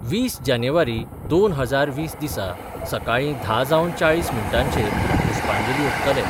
वीस जानेवारी दोन हजार वीस दिसा सकाळी धा जावन चाळीस मिनटांचेर पुष्पांजली ओपतले.